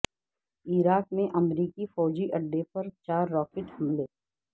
عراق میں امریکی فوجی اڈے پر چار راکٹ حملے